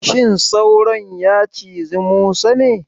Shin sauron ya cizi Musa ne?